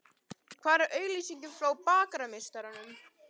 Hvar er auglýsingin frá Bakarameistaranum?